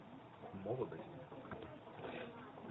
молодость